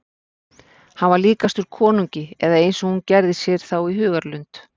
Hann var líkastur konungi eða eins og hún gerði sér þá í hugarlund.